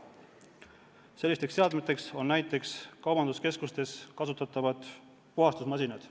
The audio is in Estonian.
Sellised seadmed on näiteks kaubanduskeskustes kasutatavad puhastusmasinad.